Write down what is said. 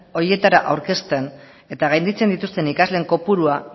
horietara aurkezten eta gainditzen dituzten ikasleen kopurua